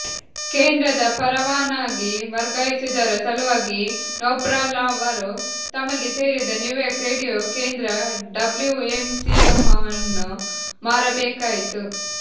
ಕೇಂದ್ರದ ಪರವಾನಗಿ ವರ್ಗಾಯಿಸುವುದರ ಸಲುವಾಗಿ ನೋಬಲ್ರವರು ತಮಗೆ ಸೇರಿದ ನ್ಯೂಯಾರ್ಕ್ ರೇಡಿಯೊ ಕೇಂದ್ರ ಡಬಲ್ಯೂಎಮ್ಸಿಎವನ್ನು ಮಾರಬೇಕಾಯಿತು